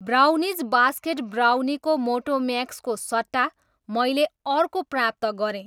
Brownies basket ब्राउनीको Motomax को सट्टा मैले अर्को प्राप्त गरेँ।